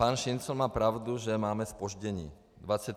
Pan Šincl má pravdu, že máme zpoždění.